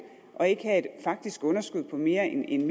og ikke have et faktisk underskud på mere end